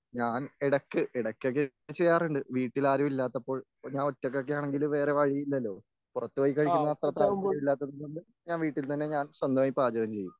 ഞാൻ ഇടയ്ക്ക് ഇടക്കൊക്കെ ചെയ്യാറുണ്ട് വീട്ടിൽ ആരുമില്ലാത്തപ്പോൾ ഞാൻ ഒറ്റക്കെയാണെങ്കിൽ വേറെ വഴിയില്ലല്ലോ പുറത്തുപോയി കഴിക്കുന്നത് അത്ര താല്പര്യമില്ലാത്തത് കൊണ്ട് ഞാൻ വീട്ടിൽ തന്നെ ഞാൻ സ്വന്തമായി പാചകം ചെയ്യും.